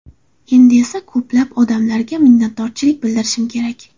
Endi esa ko‘plab odamlarga minnatdorchilik bildirishim kerak.